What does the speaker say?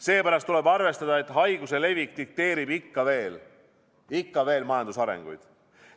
Seepärast tuleb arvestada, et haiguse levik dikteerib ikka veel majanduse arenguid.